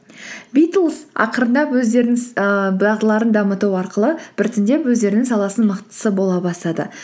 битлз ақарындап өздерінің ііі дағдыларын дамыту арқылы біртіндеп өздерінің саласының мықтысы бола бастады